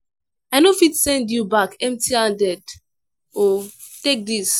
i no fit send you back empty-handed o take this.